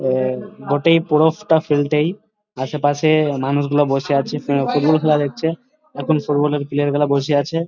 আহ মোটেই পুরোবটা ফেলতেই সে আশেপাশে মানুষগুলো বসে আছে ফুটবল খেলা দেখছে। এখন ফুটবল -এর প্লেয়ার গুলো বসে আছে।